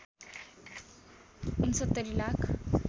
६९ lakh